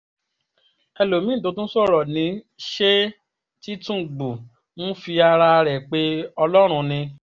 ẹlòmí-ín tó tún sọ̀rọ̀ ní ṣe tìtúngbù ń fi ara rẹ̀ pe ọlọ́run ni